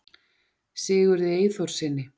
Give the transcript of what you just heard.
sigurði eyþórssyni